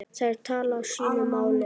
Þær tala sínu máli.